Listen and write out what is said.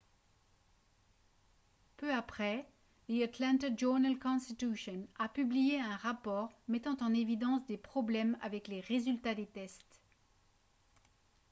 peu après the atlanta journal-constitution a publié un rapport mettant en évidence des problèmes avec les résultats des tests